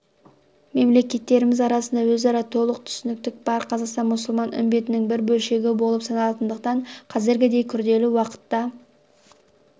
мемлекеттеріміз арасында өзара толық түсіністік бар қазақстан мұсылман үмбетінің бір бөлшегі болып саналатындықтан қазіргідей күрделі уақытта